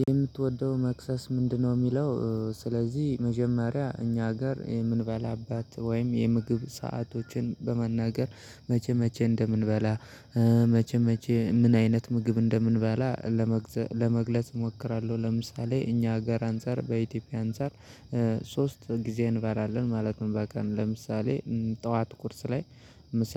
የምትወደው መክሰስ ምንድነው? የሚለው ስለዚህ መጀመሪያ እኛ ጋር የምንበላበት ወይም የምግብ ሰአቶችን በመናገር መቼ መቼ እንደምንበላ መቼ መቼ ምን አይነት ምግብ እንደምንበላ ለመግለጽ እሞክራለሁ። ለምሳሌ እኛ ሀገር አንፃር በኢትዮጵያ አንፃር ሶስት ጊዜ እንበራለን ማለት ነው። በቀን ለምሳሌ ጠዋት ቁርስ ላይ ምሳ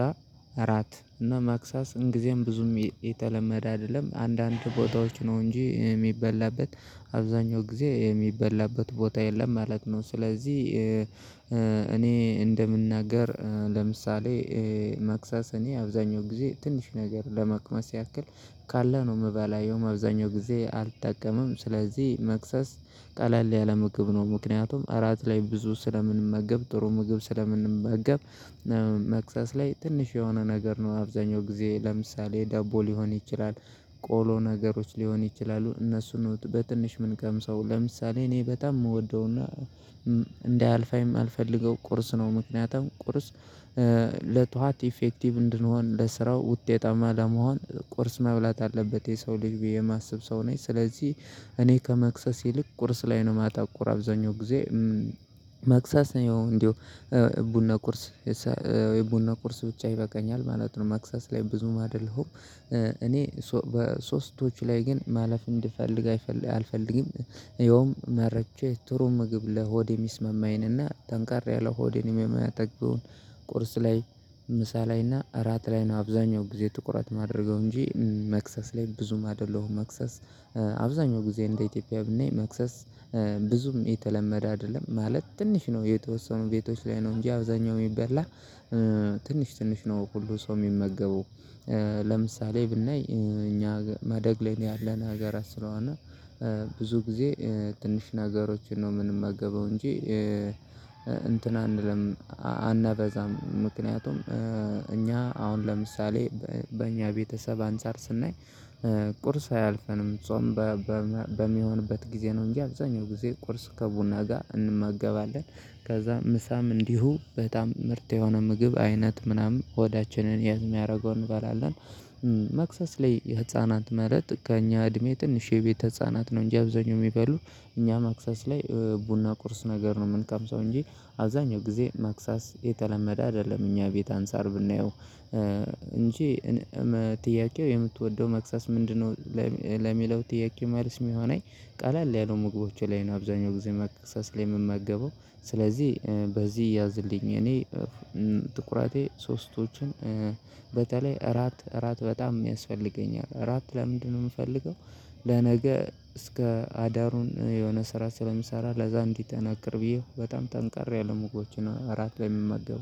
እራት እና ማክሳስ እንግዜም ብዙም የተለመደ አይደለም አንዳንድ ቦታዎች ነው እንጂ የሚበላበት አብዛኛው ጊዜ የሚበላበት ቦታ የለም ማለት ነው። ስለዚህ እኔ እንደምናገር ለምሳሌ መክሰስ እኔ አብዛኛው ጊዜ ትንሽ ነገር ለመቅመስ ያክል ካለ ነው። የምበላው ያውም አብዛኛውን ጊዜ አልጠቀምም ስለዚህ መክሰስ ቀለል ያለ ምግብ ነው። ምክንያቱም እራት ላይ ብዙ ስለምንመገብ ጥሩ ምግብ ስለምንመገብ መክሰስ ላይ ትንሽ የሆነ ነገር ነው አብዛኛው ጊዜ ለምሳሌ ደቦ ሊሆን ይችላል። ቆሎ ነገሮች ሊሆኑ ይችላሉ እነሱን ነው በትንሹ ምንቀምሰው ለምሳሌ እኔ በጣም የምወደውና እንዳያልፈኝ ማልፈልገው ቁርስ ነው። ምክንያቱም ቁርስ ለጠዋት ኢፌክቲቭ እንድንሆን ለስራው ውጤታማ ለመሆን ቁርስ መብላት አለበት የሰው ልጅ ብዬ የማስብ ሰው ነኝ። ስለዚህ እኔ ከመክሰስ ይልቅ ቁርስ ላይ ነው ማተኩር አብዛኛው ጊዜ። ማክሰስ ያው እንደው ቡና ቁርስ ቡና ቁርስ ብቻ ይበቃኛል ማለት ነው። ማክሰስ ላይ ብዙም አይደለሁም። እኔ በሶስቶች ላይ ግን ማለፍ እንዲፈልግ አልፈልግም። ያውም መርጬ ጥሩ ምግብ ለሆድ የሚስመማኝን እና ጠንከር ያለ ሆድም የሚያጠግበውን። ቁርስ ላይ ምሳ ላይ እና እራት ላይ ነው አብዛኛው ጊዜ ትኩረት የማደርገው እንጂ መክሰስ ላይ ብዙም አይደለሁም መክሰስ። አብዛኛው ጊዜ እንደ ኢትዮጵያ ብናይ መክሰስ ብዙም የተለመደ አይደለም ማለት ትንሽ ነው። የተወሰኑ ቤቶች ላይ ነው እንጂ አብዛኛው የሚበላ ትንሽ ትንሽ ነው ሁሉ ሰው የሚመገበው። ለምሳሌ ብናይ እኛ ማደግ ላይ ያለን ሀገራት ስለሆነ ብዙ ጊዜ ትንሽ ነገሮችን ነው የምንመገበው እንጂ እንትን አንልም። አናበዛም ምክንያቱም እኛ አሁን ለምሳሌ በእኛ ቤተሰብ አንፃር ስናይ ቁርስ አያልፈንም ጾም በሚሆንበት ጊዜ ነው እንጂ አብዛኛው ጊዜ ቁርስ ከቡና ጋር እንመገባለን። ከዛ ምሳም እንዲሁ በጣም ምርጥ የሆነ ምግብ አይነት ምናምን ሆዳችንን ያዝ የሚያደርገው እንበላለን። መክሰስ ላይ የህፃናት ማለት ከእኛ እድሜ ትንሽ የቤት ህፃናት ነው እንጂ አብዛኛው የሚበሉ እኛ ማክሰስ ላይ ቡና ቁርስ ነገር ነው የምንቀምሰው። እንጂ አብዛኛው ጊዜ ማክሰስ የተለመደ አይደለም። እኛ ቤት አንሳር ብናየው እንጂ ጥያቄው የምትወደው መክሰስ ምንድነው? ለሚለው ጥያቄ መልስ የሚሆነኝ ቃል ያሉ ያሉ ምግቦች ላይ ነው አብዛኛው ጊዜ መክሰስ ላይ የምመገበው። ስለዚህ በዚህ ያዝልኝ እኔ ትኩረቴ ሶስቶችን በተለይ እራት እራት በጣም የሚያስፈልገኛል። እራት ለምንድነው የምፈልገው? ለነገ እስከ አዳሩን የሆነ ስራ ስለሚሰራ ለዛ እንድጠነክር ብዬ በጣም ጠንከር ያሉ ምግቦችን እራት በምመገብው